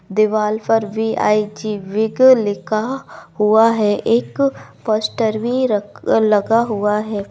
दीवाल पर V I G वीग लिखा हुआ है एक पोस्टर भी रख लगा हुआ है।